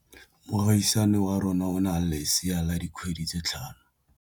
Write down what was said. Moagisane wa rona o na le lesea la dikgwedi tse tlhano.